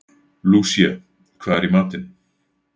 Lúsía, hvað er í matinn?